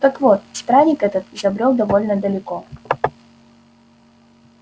так вот странник этот забрёл довольно далеко